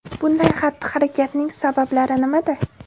Bunday xatti-harakatning sabablari nimada?